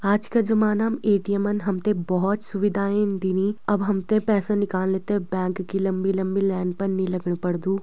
आज का जमाना म ए.टी.ऍम. न हमते भौत सुविधाएं दिनी अब हमते पैसा निकालने ते बैंक की लम्बी-लम्बी लाइन पर नी लगण पड़दु।